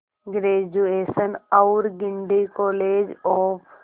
graduation और Guindy college of